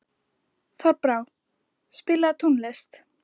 Þorbrá, spilaðu tónlist.